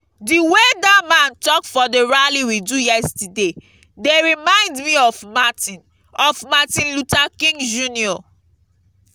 the way dat man talk for the rally we do yesterday dey remind me of martin of martin luther king jnr.